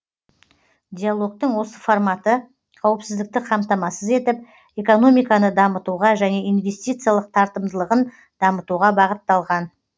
диалогтың осы форматы қауіпсіздікті қамтамасыз етіп экономиканы дамытуға және инвестициялық тартымдылығын дамытуға бағытталған